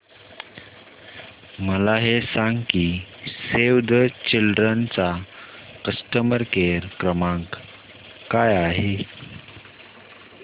मला हे सांग की सेव्ह द चिल्ड्रेन चा कस्टमर केअर क्रमांक काय आहे